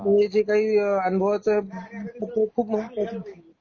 जे काही अनुभवाच पत्र खूप महा खूप महत्वाच पडतं.